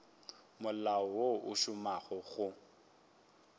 molao wo o šomago go